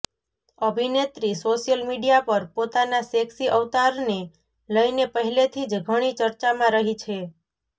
અભિનેત્રી social media પર પોતાના સેક્સી અવતારને લઈને પહેલેથી જ ઘણી ચર્ચામાં રહી છે